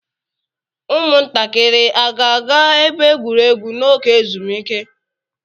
Ụmụntakịrị a ga-aga ebe egwuregwu n'oge ezumike?